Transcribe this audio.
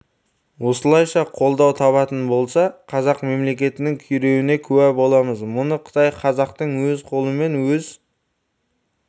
осылайша қолдау табатын болса қазақ мемлекетінің күйреуіне куә боламыз мұны қытай қазақтың өз қолымен өз